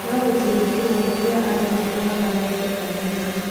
No gĩcunjĩ kĩnene kĩa andũ makamaga ng'ombe kana mbũrĩ